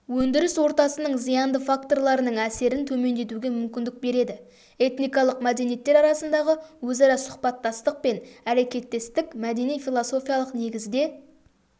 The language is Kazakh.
өндіріс ортасының зиянды факторларының әсерін төмендетуге мүмкіндік береді этникалық мәдениеттер арасындағы өзара сұхбаттастық пен әрекеттестік мәдени-философиялық негізде